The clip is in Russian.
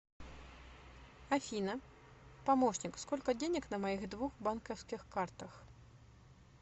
афина помощник сколько денег на моих двух банковских картах